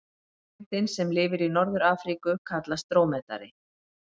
Tegundin sem lifir í Norður-Afríku kallast drómedari.